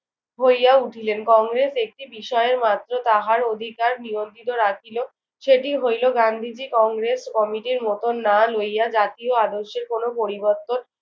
হইয়া উঠিলেন। কংগ্রেস একটি বিষয়ের মাত্র তাহার অধিকার নিয়ন্ত্রিত রাখিল। সেটি হইল গান্ধীজি কংগ্রেস কমিটির মতন না লইয়া জাতীয় আদর্শের কোনো পরিবর্তন